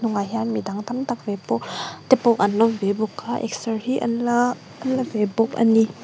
hnungah hian mi dang tam tak te pawh an awm ve bawk a exer hi an la la ve bawk a ni.